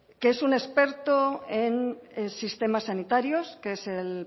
que es un experto en sistemas sanitarios que es el